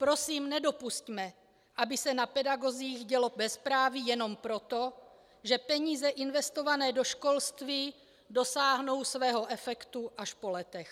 Prosím nedopusťme, aby se na pedagozích dělo bezpráví jenom proto, že peníze investované do školství dosáhnou svého efektu až po letech.